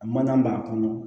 A mana b'a kɔnɔ